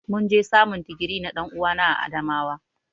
Mun je samun digiri na dan'uwana a Adamawa.